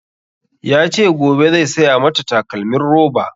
Ya ce gobe zai saya mata takalmin roba